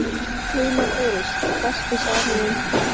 Guðmann Þóris Besti samherjinn?